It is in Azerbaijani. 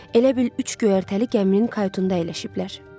Elə bil üç göyərtəli gəminin qayutunda yerləşiblər.